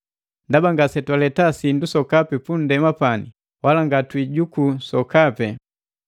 Ndaba ngasetwaleta sindu sokapi punndema pani, wala ngatwiijuku sokapi.